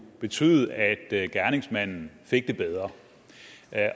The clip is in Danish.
betyde at gerningsmanden fik det bedre